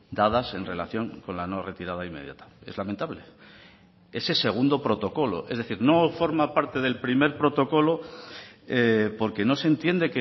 dadas en relación con la no retirada inmediata es lamentable ese segundo protocolo es decir no forma parte del primer protocolo porque no se entiende